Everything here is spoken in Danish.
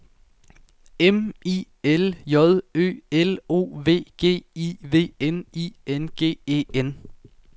M I L J Ø L O V G I V N I N G E N